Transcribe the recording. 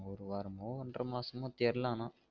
ஒரு வாரமோ, ஒன்ற மாசமோ தெரில ஆனா